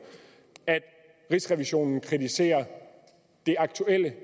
at rigsrevisionen kritiserer det aktuelle